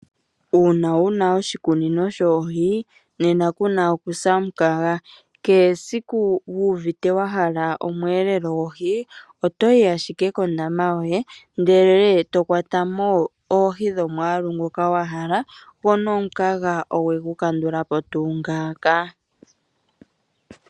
Uuna wu na oshikunino shoohi, nena ku na okusa omukaga. Kehe esiku wu uvite wa hala omweelelo gohi oto yi ashike kondaama yoye, ndele to kwata mo oohi dhomwaalu ngoka wa hala go nomukaga owe gu kandula po tuu ngaaka.